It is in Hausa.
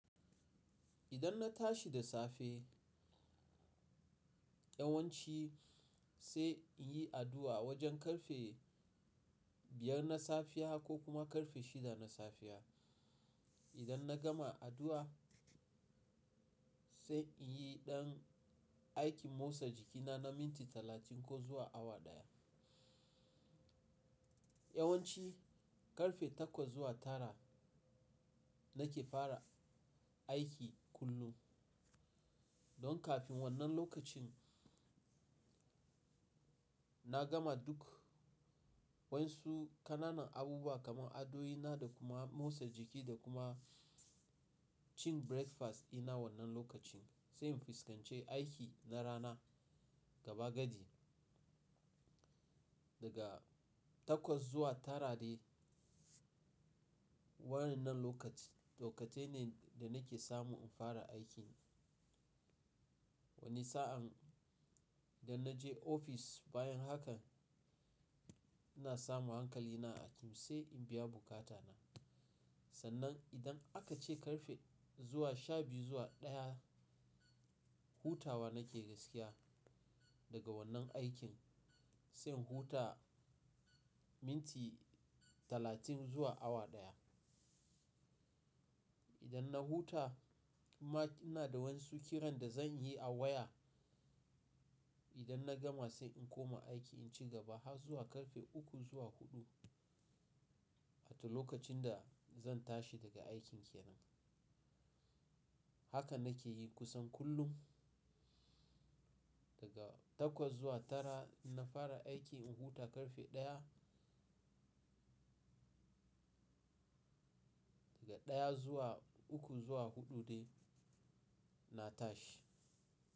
Idan na tashi da safe, yawanci sai in yi addu'a wajen karfe biyar na safiya ko kuma karfe shida na safiya. Idan na gama addu'a, sai in yi ɗan aikin motsa jikina na minti talatin ko zuwa awa ɗaya. Yawanci karfe takwas zuwa tara nake fara aiki kullum. Don kafin wannan lokacin na gama duk wasu ƙananan abubuwa kamar adoina da kuma motsa jiki da kuma cin breakfast ina wannan lokacin sai in fuskance aiki na rana gaba gadi. Daga takwas zuwa tara de wannan lokaci, lokatai ne da nake samu in fara aikin. Wani sa'an idan na je ofis bayan haka, ina samu hankali na aiki sai in biya buƙata na. Sannan idan aka ce karfe zuwa shabiyu zuwa ɗaya, hutawa nake gaskiya daga wannan aikin sai in huta minti talatin zuwa awa ɗaya. Idan na huta inma ina da wasu kiran da zan yi a waya. Idan na gama sai in koma aiki in ci gaba har zuwa karfe uku zuwa huɗu, at lokacin da zan tashi daga aikin ke nan. Haka nake yi kusan kullum. Daga takwas zuwa tara na fara aiki in huta karfe ɗaya. Daga ɗaya zuwa uku zuwa huɗu ne na tashi.